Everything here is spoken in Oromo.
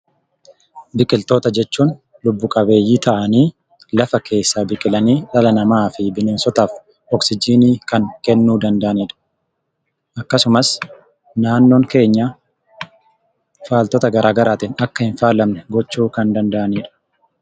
Biqiltoota jechuun lubbu qabeeyyii ta'anii lafa keessa turanii dhala namaatiif, bineensotaaf oksijiinii kan kennuu danda'anidha. Akkasumas naannoon keenya faaltota garaagaraan akka hin faalamne gochuu kan danda'anidha.